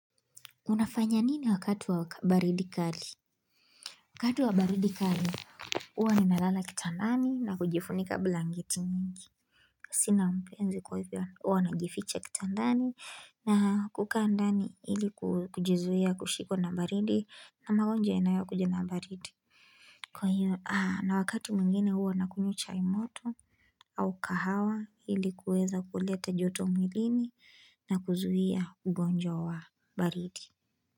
Unafanya nini wakati wa baridi kali? Wakatu wa baridi kali, huwa ninalala kitandani na kujifunika blaketi mingi. Sina mpenzi kwa hivyo, huwa nagificha kitandani na kuka andani ili kujizuia kushikwa na baridi na magonjwa yananayokuja na baridi. Kwa hiyo, na wakati mwingine huwa nakunywa chai moto au kahawa ili kuweza kuleta joto umilini na kuzuhia ugonjwa wa baridi.